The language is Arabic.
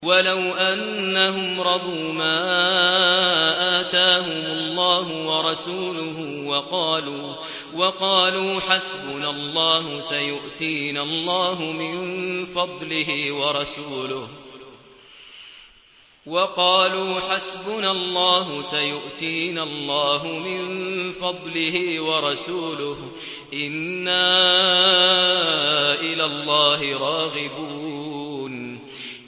وَلَوْ أَنَّهُمْ رَضُوا مَا آتَاهُمُ اللَّهُ وَرَسُولُهُ وَقَالُوا حَسْبُنَا اللَّهُ سَيُؤْتِينَا اللَّهُ مِن فَضْلِهِ وَرَسُولُهُ إِنَّا إِلَى اللَّهِ رَاغِبُونَ